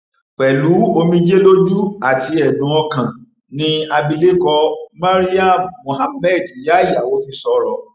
pẹlú omijé lójú àti ẹdùn ọkàn ni abilékọ maryam muhammed ìyá ìyàwó fi sọrọ